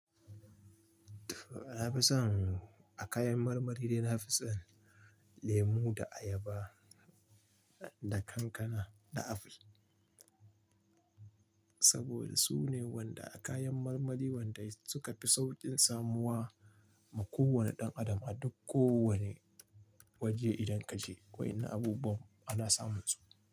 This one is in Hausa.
Na fi son a kayan marmari dai na fi son lemo da ayaba da kankana da aful. Saboda su ne wanda kayan marmari wanda suka fi sauƙin samuwa ma kowane ɗan adam a duk ko wane waje idan kaje wai ina abubuwan ana samun su.